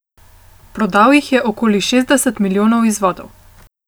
Prodal jih je okoli šestdeset milijonov izvodov.